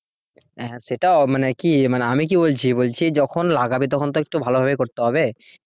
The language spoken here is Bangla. হ্যাঁ সেটা মানে কি মানে আমি কি বলছি বলছি যখন লাগাবে তখন তো একটু ভালোভাবে করতে হবে?